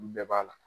Olu bɛɛ b'a la